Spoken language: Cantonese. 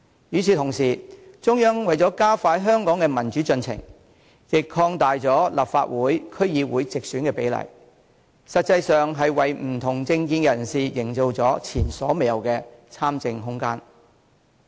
與此同時，中央為加快香港的民主進程，亦擴大了立法會、區議會的直選比例，實際上是為不同政見的人士營造了前所未有的參政空間。